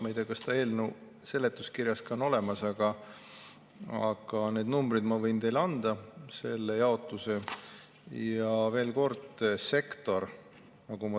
Ma ei tea, kas see on ka eelnõu seletuskirjas, aga need numbrid, selle jaotuse, ma võin teile anda.